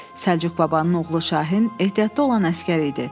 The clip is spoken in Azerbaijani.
Səlcuq babanın oğlu Şahin ehtiyatda olan əsgər idi.